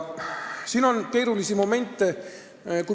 Siin on keerulisi momente.